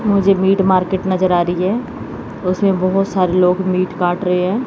मुझे meat market नजर आ रही है उसमें बहोत सारे लोग मीट काट रहे हैं।